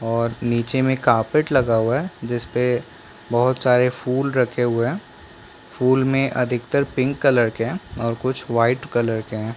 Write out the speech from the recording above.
और निचे में कारपेट लगा हुआ है जिसपे बहुत सारा फूल रखे हुए हुए हैं फूल में अधितकर पिंक कलर के है और कुछ वाइट कलर के है।